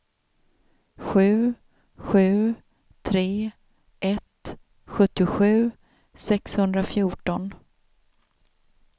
sju sju tre ett sjuttiosju sexhundrafjorton